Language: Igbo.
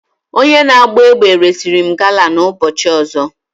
Onye na-agba egbe resịrị m gala na ụbọchị ọzọ.